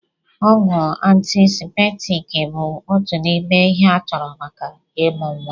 Ọgwụ antiseptiiki bụ òtù n'ime ihe a chọrọ maka ịmụ nwa.